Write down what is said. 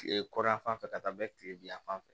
Kile kɔrɔn yan fan fɛ ka taa bɛ kile bin yan fan fɛ